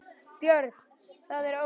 Björn: Það er óljóst?